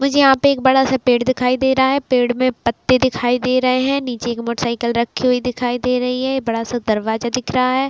मुझे यहाँ पे एक बड़ा सा पेड़ दिखाई दे रहा है पेड़ में पत्ते दिखाई दे रहे हैं नीचे में एक मोटर साइकिल रखी हुई दिखाई दे रही है एक बड़ा सा दरवाजा दिख रहा है।